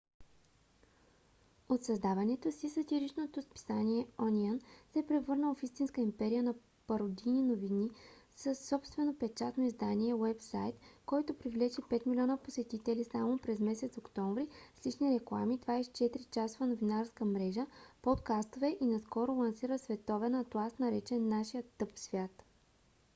от създаването си сатиричното списание ониън се е превърнало в истинска империя на пародийни новини със собствено печатно издание уебсайт който привлече 5 милиона посетители само през месец октомври с лични реклами 24-часова новинарска мрежа подкастове и наскоро лансира световен атлас наречен нашият тъп свят